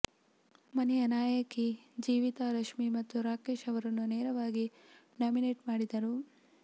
ಮನೆಯ ನಾಯಕಿ ಜೀವಿತಾ ರಶ್ಮಿ ಮತ್ತು ರಾಕೇಶ್ ಅವರನ್ನು ನೇರವಾಗಿ ನಾಮಿನೇಟ್ ಮಾಡಿದರು